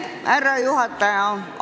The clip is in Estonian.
Härra juhataja!